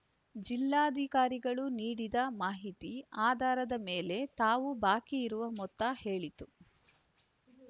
ಜಿಲ್ಲಾಧಿಕಾರಿಗಳು ನೀಡಿದ ಮಾಹಿತಿ ಆಧಾರದ ಮೇಲೆ ತಾವು ಬಾಕಿ ಇರುವ ಮೊತ್ತ ಹೇಳಿದ್ದು